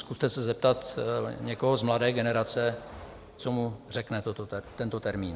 Zkuste se zeptat někoho z mladé generace, co mu řekne tento termín.